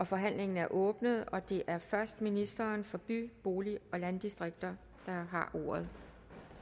forhandlingen er åbnet det er først ministeren for by bolig og landdistrikter der har ordet